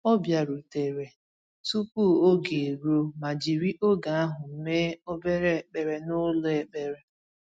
O bịarutere tupu oge eruo ma jiri oge ahụ mee obere ekpere n’ụlọ ekpere.